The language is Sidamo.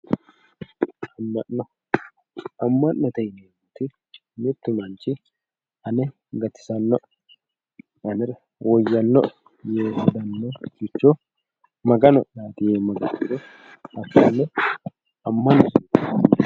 Amma'no amma'note yinanniti mittu manchi ane gatisannoe anera woyyannoe yee hedannoricho magano'yaati yee maga'ne heerannoha hakkonne